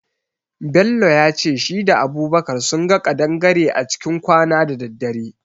Bello yace shi da Abubakar sunga kadangare a cikin kwana da daddare.